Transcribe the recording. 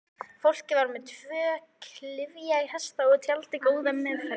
Fólkið var með tvo klyfjahesta og tjaldið góða meðferðis.